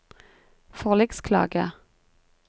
forliksklage